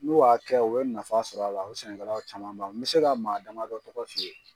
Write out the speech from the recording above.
N'u y'a kɛ u bi nafa sɔrɔ a la, o sɛnɛkɛlaw camanba n mi se ka maa dama dɔ tɔgɔ f'i ye